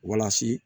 Walasa